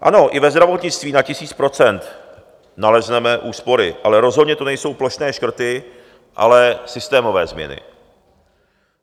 Ano, i ve zdravotnictví na tisíc procent nalezneme úspory, ale rozhodně to nejsou plošné škrty, ale systémové změny.